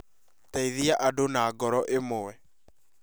Teithia andũ na ngoro imwe